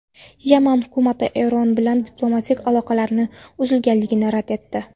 Yaman hukumati Eron bilan diplomatik aloqalarning uzilganligini rad etdi.